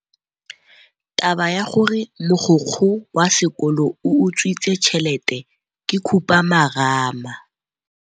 Taba ya gore mogokgo wa sekolo o utswitse tšhelete ke khupamarama.